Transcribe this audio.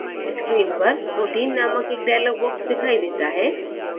screen पर protein नामक एक dialog box दिखाई देता है